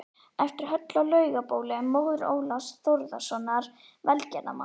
eftir Höllu á Laugabóli, móður Ólafs Þórðarsonar velgerðarmanns